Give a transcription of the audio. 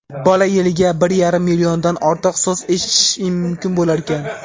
bola yiliga bir yarim milliondan ortiq so‘z eshitishi mumkin bo‘larkan.